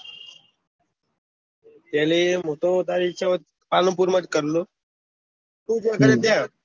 Tally હું તો તારી ઈચ્છા હોય તો પાલનપુર માં કર લિયો ટુ જ્યાં કરે ત્યાં